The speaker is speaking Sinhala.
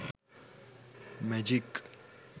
magic